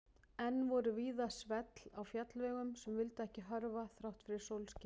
Enn voru víða svell á fjallvegum sem vildu ekki hörfa þrátt fyrir sólskin.